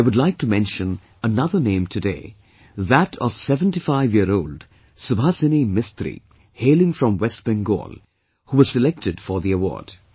I would like to mention another name today, that of 75 year old Subhasini Mistri, hailing from West Bengal, who was selected for the award